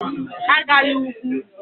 Agala ugwu.